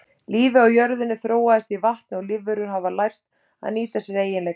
Lífið á jörðinni þróaðist í vatni og lífverur hafa lært að nýta sér eiginleika þess.